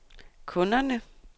kunderne